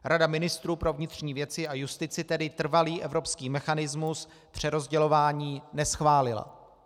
Rada ministrů pro vnitřní věci a justici tedy trvalý evropský mechanismus přerozdělování neschválila.